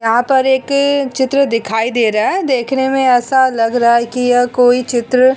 यहाँ पर एक चित्र दिखाई दे रहा हैं देखने मैं ऐसा लग रहा हैं की यह कोई चित्र --